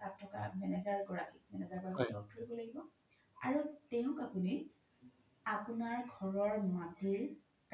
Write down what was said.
তাত থকা manager গৰাকিক হয় manager গৰাকিক লগ ধৰিব লাগিব আৰু তেওক আপোনি আপোনাৰ ঘৰৰ মাতিৰ